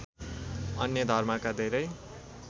अन्य धर्मका धेरै